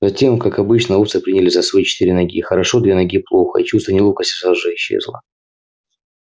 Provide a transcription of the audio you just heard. затем как обычно овцы принялись за своё четыре ноги хорошо две ноги плохо и чувство неловкости сразу же исчезло